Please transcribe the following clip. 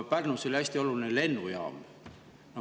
Pärnus oli hästi oluline lennujaam.